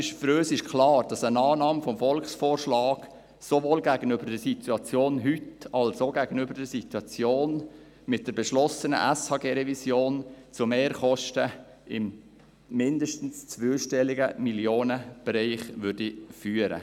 Für uns ist klar, dass eine Annahme des Volksvorschlags sowohl gegenüber der Situation heute als auch gegenüber der Situation mit der beschlossenen SHG-Revision zu Mehrkosten mindestens im zweistelligen Millionenbereich führen würde.